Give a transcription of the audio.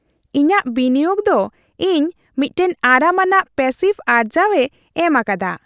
ᱤᱧᱟᱹᱜ ᱵᱤᱱᱤᱭᱳᱜ ᱫᱚ ᱤᱧ ᱢᱤᱫᱴᱟᱝ ᱟᱨᱟᱢ ᱟᱱᱟᱜ ᱯᱮᱥᱤᱵᱷ ᱟᱨᱡᱟᱹᱣᱮ ᱮᱢ ᱟᱠᱟᱫᱟ ᱾